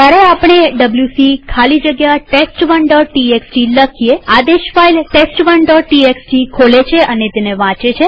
જયારે આપણે ડબ્લ્યુસી ખાલી જગ્યા test1ટીએક્સટી લખીએઆદેશ ફાઈલ test1ટીએક્સટી ખોલે છે અને તેને વાંચે છે